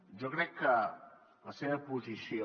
jo crec que la seva posició